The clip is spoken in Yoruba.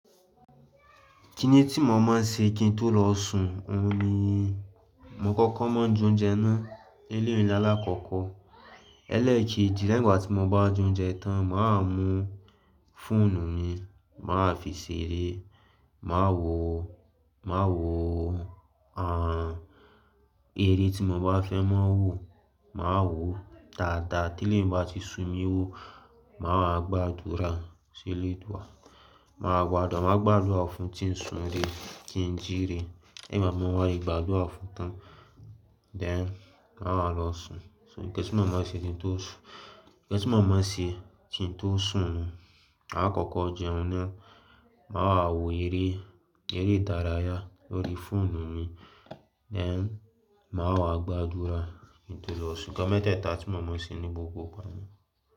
Kíni tí mo máa ń ṣe kí n tó lọ sun ọ̀un ni. Mo kọ́kọ́ máa ń jẹ ounje náà ele'i ni láàkọ́kọ́. Lẹ́ẹ̀kejì, lẹ́yìn ìgbà tí mo bá je ounje tán, mà á mú fóònù mi, mà á fi ṣeré, mà á wò, mà á wò, àń, eré tí mo bá fẹ́ máa wò, mà á wò dáadáa tí eleyi bá ti sun mi wò. Mà á gbàdúrà sí Oledua mà á gbàdúrà, mà á gbàdúrà fún kí ń sun re, kí n jíire. Lẹ́yìn ti mo ba wá ti gbàdúrà fún tán, then mà á lọ sùn. So nnkan mó máa ń ṣe kí n tó sùn, nnkan mó máa ń ṣe kí n tó sùn, àkọ́kọ́ jẹun ná, mà á wò eré, eré dárayà lórí fóònù mi, then mà wá gbàdúrà kí n tó lọ sùn. Nnkan mẹ́tẹ́ẹ̀ta tí mo máa ń ṣe ní gbogbo igba.